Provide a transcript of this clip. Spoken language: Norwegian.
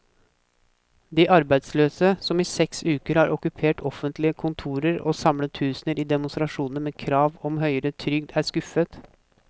De arbeidsløse, som i seks uker har okkupert offentlige kontorer og samlet tusener i demonstrasjoner med krav om høyere trygd, er skuffet.